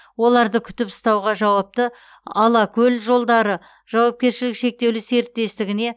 оларды күтіп ұстауға жауапты алакөлжолдары жауапкершілігі шектеулі серіктестігіне